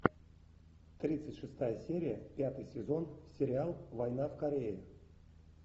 тридцать шестая серия пятый сезон сериал война в корее